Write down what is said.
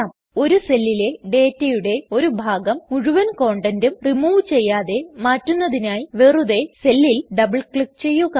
ഒരു സെല്ലിലെ ഡേറ്റയുടെ ഒരു ഭാഗം മുഴുവൻ കണ്ടൻറും റിമൂവ് ചെയ്യാതെ മാറ്റുന്നതിനായി വെറുതെ സെല്ലിൽ ഡബിൾ ക്ലിക് ചെയ്യുക